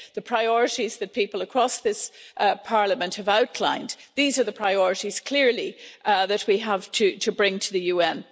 The priorities that people across this Parliament have outlined these are the priorities, clearly, that we have to bring to the UN.